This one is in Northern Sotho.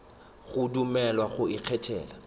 go dumelelwa go ikgethela le